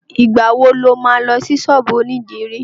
Ìgbà wo lo má lọ sí ṣọ́ọ̀bú ònídìrí?